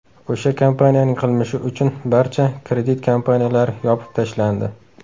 O‘sha kompaniyaning qilmishi uchun barcha kredit kompaniyalari yopib tashlandi.